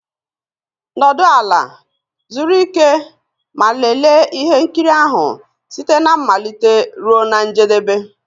Nọdụ ala, zuru ike ma lelee ihe nkiri ahụ site na mmalite ruo na njedebe.